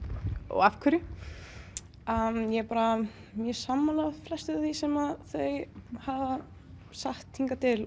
af hverju ég er bara mjög sammála flestu því sem þau hafa sagt hingað til